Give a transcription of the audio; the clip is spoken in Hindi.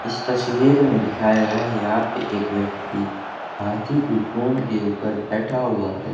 इस तस्वीर में दिखाया गया है यहां पे एक व्यक्ति हाथी की सूंड के ऊपर बैठा हुआ है।